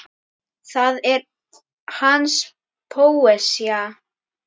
Það er hans póesía.